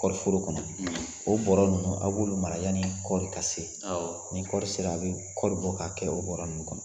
Kɔɔriforo kɔnɔ, o bɔrɛ ninnu a b'olu mara yaani kɔɔri ka se, ni kɔɔri sera a bɛ kɔɔri bɔ ka kɛ bɔrɛ ninnu kɔnɔ